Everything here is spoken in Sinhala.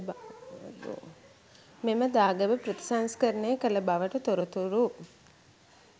මෙම දාගැබ ප්‍රතිසංස්කරණය කළ බවට තොරතුරු